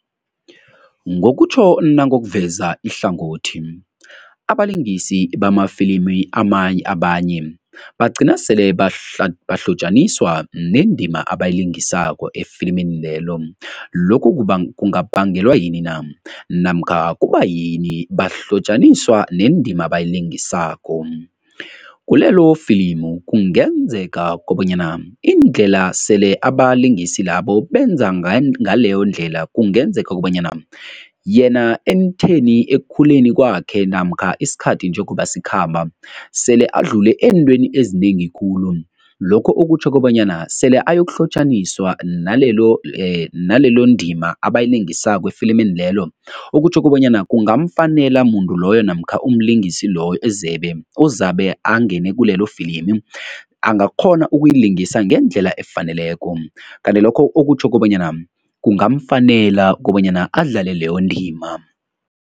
Ngokutjho nangokuveza ihlangothi, abalingisi bamafilimi abanye bagcina sele bahlotjaniswa nendima abayilingisako efilimini lelo. Lokhu kungabangelwa yini na? Namkha kubayini bahlotjaniswa nendima abayilingisako? Kulelo filimu kungenzeka kobanyana indlela sele abalingisi labo benza ngaleyondlela kungenzeka kobanyana yena ekutheni ekukhuleni kwakhe namkha isikhathi njengoba sikhamba, sele adlule eentweni ezinengi khulu, lokho okutjho kobanyana sele ayokuhlotjaniswa nalelo nalelondima abayilingisako efilimini lelo. Okutjho kobanyana kungamfanele muntu loyo namkha umlingisi loyo ozabe angene kulelo filimi, angakghona ukuyilingisa ngendlela efaneleko. Kanti lokho okutjho kobanyana kungamfanele kobanyana adlale leyo ndima.